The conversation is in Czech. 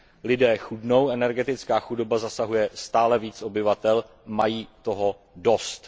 Lidé chudnou, energetická chudoba zasahuje stále víc obyvatel, mají toho dost.